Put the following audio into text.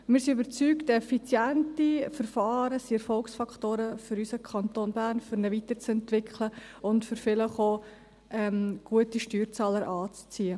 Wir sind überzeugt, dass effiziente Verfahren Erfolgsfaktoren für die Weiterentwicklung unseres Kantons Bern sind und vielleicht auch, um gute Steuerzahler anzuziehen.